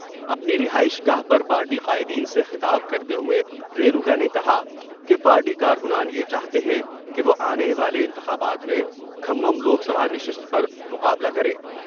اپنی رہائش گاہ پر پارٹی قائدین سے خطاب کرتے ہوۓ رینوکا نے کہا کہ پارٹی کارکنان یہ چاہتے ہیں کہ وہ آنے والے انتخابات میں کھممم لوک سبھا نشست پر مقابلہ کریں ۔